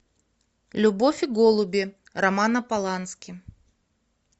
любовь и голуби романа полански